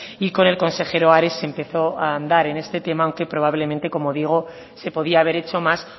y con el consejero ares se empezó a andar en este tema aunque probablemente se podía haber hecho más